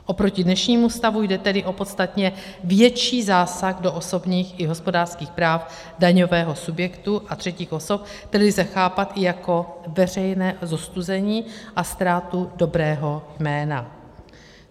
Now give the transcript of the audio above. Oproti dnešnímu stavu jde tedy o podstatně větší zásah do osobních i hospodářských práv daňového subjektu a třetích osob, který lze chápat i jako veřejné zostuzení a ztrátu dobrého jména.